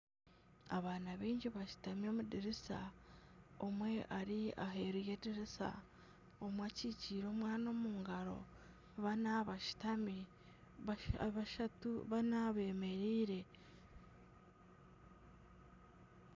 Abaana baingi bashutami omudirisa, omwe ari aheeru y'edirisa, omwe akyikyire omwana omu ngaro bana bashutambi, bana bemereire .